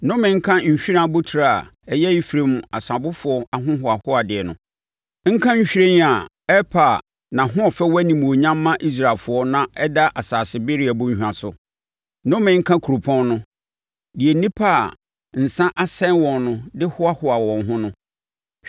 Nnome nka nhwiren abotire a ɛyɛ Efraim asabofoɔ ahohoahoadeɛ no, nka nhwiren a ɛrepa a nʼahoɔfɛ wɔ animuonyam ma Israelfoɔ na ɛda asase bereɛ bɔnhwa so. Nnome nka kuropɔn no, deɛ nnipa a nsa asɛe wɔn no de hoahoa wɔn ho no.